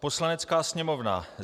Poslanecká sněmovna